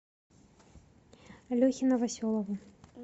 лехе новоселову